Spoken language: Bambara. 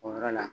O yɔrɔ la